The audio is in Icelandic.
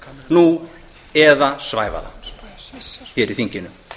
nú eða svæfa það hér í þinginu